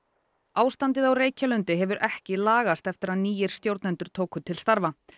ástandið á Reykjalundi hefur ekki lagast eftir að nýir stjórnendur tóku til starfa